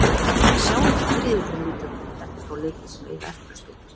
Sjáum hvernig riðillinn lítur út eftir þá leiki sem eiga eftir að spilast.